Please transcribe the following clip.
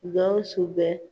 Gawsu bɛ